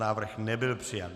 Návrh nebyl přijat.